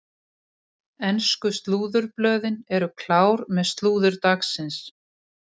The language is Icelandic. Ensku slúðurblöðin eru klár með slúður dagsins.